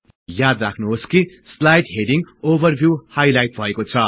याद राख्नुहोस् कि स्लाईड हेडिङ ओभरभिउ हाईलाईट भएको छ